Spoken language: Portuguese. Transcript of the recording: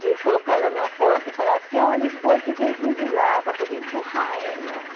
de colocar ela numa porta e falar assim, olha os boi que vem vindo lá para poder empurrar ela.